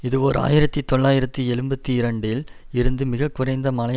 இது ஓர் ஆயிரத்தி தொள்ளாயிரத்து எழுபத்தி இரண்டில் இருந்து மிக குறைந்த மழை